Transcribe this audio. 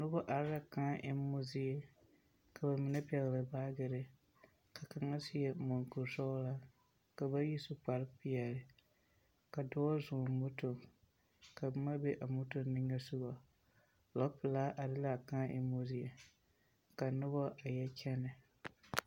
Noba are la kãã emmo zie, ka ba mine pɛgele baagere, ka kaŋa seɛ muŋkuri sɔgelaa, ka bayi su kpare peɛle. Ka dɔɔ zɔŋ moto ka boma be a moto niŋesoga. lɔ pelaa are la a kãã emmo zie, ka noba a yɔ kyɛnɛ.